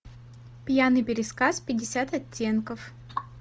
пьяный пересказ пятьдесят оттенков